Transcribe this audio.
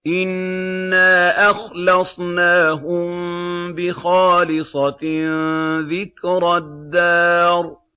إِنَّا أَخْلَصْنَاهُم بِخَالِصَةٍ ذِكْرَى الدَّارِ